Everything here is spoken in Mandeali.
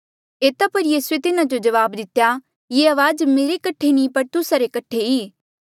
एता पर यीसूए तिन्हा जो जवाब दितेया ये अवाज मेरे कठे नी ई पर तुस्सा रे कठे ई